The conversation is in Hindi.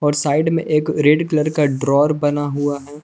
साइड में एक रेड कलर का ड्रॉवर बना हुआ है।